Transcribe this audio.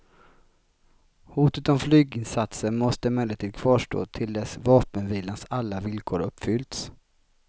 Hotet om flyginsatser måste emellertid kvarstå till dess vapenvilans alla villkor uppfyllts.